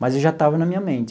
Mas já estava na minha mente.